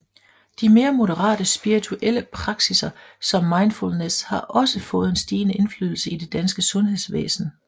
De mere moderate spirituelle praksiser som mindfulness har også fået en stigende indflydelse i det danske sundhedsvæsen